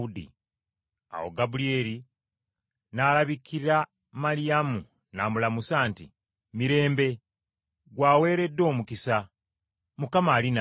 Awo Gabulyeri n’alabikira Maliyamu n’amulamusa nti, “Mirembe! Ggwe aweereddwa omukisa! Mukama ali naawe!”